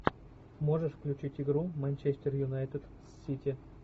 можешь включить игру манчестер юнайтед с сити